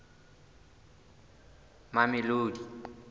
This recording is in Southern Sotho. mamelodi